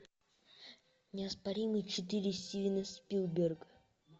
неоспоримый четыре стивена спилберга